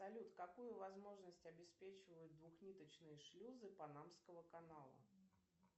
салют какую возможность обеспечивают двухниточные шлюзы панамского канала